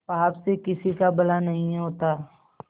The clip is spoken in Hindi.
पाप से किसी का भला नहीं होता